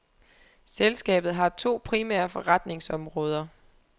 Selskabet har to primære forretningsområder.